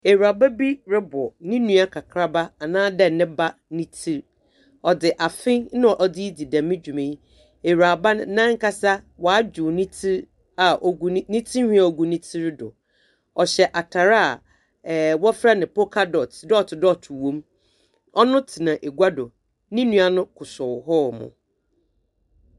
Ewuraba bi robɔ no nua kakraba anaadɛ ne ba ne tsir. Ɔdze fe na ɔdze redzi dɛm dwuma yi. Ewuraba no nankasa ɔadwer ne tsir a ogu ne tsir ne tsinhwi a ogu ne tsir do. Ɔhyɛ atar a ɛɛɛ wɔfrɛ no poka dot: dot dot wɔ mu. Ɔno tsena ega do, no nua no kosɔw hɔ.